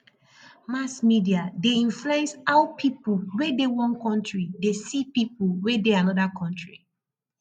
mass media de influence how pipo wey de one country de see pipo wey de another country